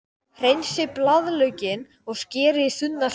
Hreinsið blaðlaukinn og skerið í þunnar sneiðar.